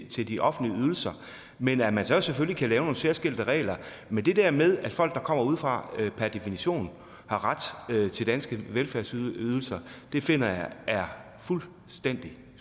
til de offentlige ydelser men at man så selvfølgelig kan lave nogle særskilte regler men det der med at folk der kommer udefra per definition har ret til danske velfærdsydelser finder jeg er fuldstændig